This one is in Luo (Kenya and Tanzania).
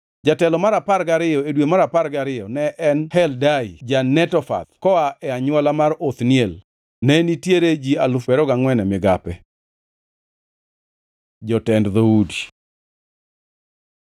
Jatelo mar apar gariyo, e dwe mar apar gariyo ne en Heldai ja-Netofath koa e anywola mar Othniel. Ne nitiere ji alufu piero ariyo gangʼwen (24,000) e migape. Jotend dhoudi